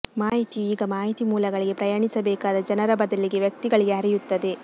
ಮಾಹಿತಿಯು ಈಗ ಮಾಹಿತಿ ಮೂಲಗಳಿಗೆ ಪ್ರಯಾಣಿಸಬೇಕಾದ ಜನರ ಬದಲಿಗೆ ವ್ಯಕ್ತಿಗಳಿಗೆ ಹರಿಯುತ್ತದೆ